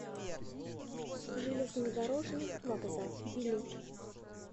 железнодорожный вокзал билет